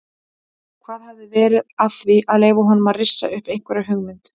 Hvað hafi verið að því að leyfa honum að rissa upp einhverja hugmynd?